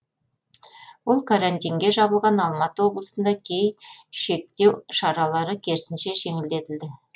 ол карантинге жабылған алматы облысында кей шектеу шаралары керісінше жеңілдетілді